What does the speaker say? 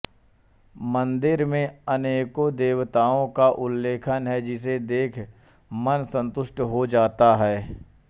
मंदिर में अनेको देवताओं का उल्लेख है जिसे देख मन संतुष्ट हो जाता है